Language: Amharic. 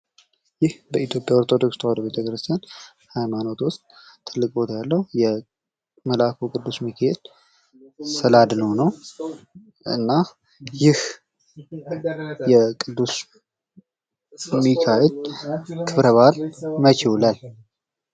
ይህ በኢትዮጵያ ኦርቶዶክስ ተዋህዶ ቤተክርስቲያን ሀይማኖት ዉስጥ ትልቅ ቦታ ያለዉ የቅዱስ ሚካኤል ስዕለ አድኅኖ ነዉ። የቅዱስ ሚኬኤል ክብረ በዓል መቼ ይዉላል?